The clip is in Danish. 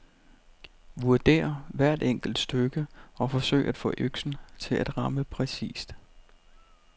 Vurder hvert enkelt stykke og forsøg at få øksen til at ramme præcist.